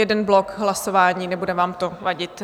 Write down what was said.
Jeden blok hlasování, nebude vám to vadit?